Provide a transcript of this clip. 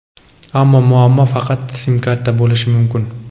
ammo muammo faqat sim-kartada bo‘lishi mumkin.